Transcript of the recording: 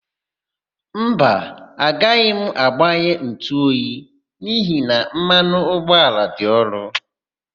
Mba, agaghị m agbanye ntụoyi n'ihi na mmanụ ụgbọala dị ọnụ.